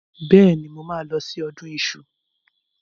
Bẹ́ẹ̀ni, mo máa mo máa lọ sí ọdún iṣu.